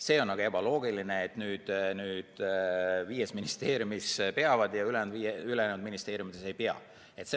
See on ebaloogiline, et viies ministeeriumis peavad ja ülejäänud ministeeriumides ei pea.